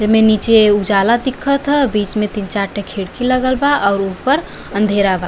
एमे नीचे उजाला दिखत ह बीच में तीन चार ठे खिड़की लगल बा और ऊपर अँधेरा बा।